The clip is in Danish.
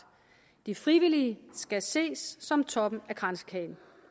de frivillige skal ses som toppen af kransekagen